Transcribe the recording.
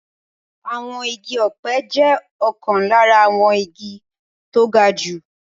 Àwọn igi ọ̀pẹ jẹ́ ọ̀kan lára àwọn igi tó ga jù